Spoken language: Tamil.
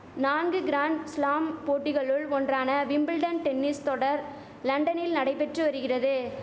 நான்கு கிராண்ட் ஸ்லாம் போட்டிகளுள் ஒன்றான விம்பிள்டன் டென்னிஸ் தொடர் லண்டனில் நடைபெற்று வரிகிறது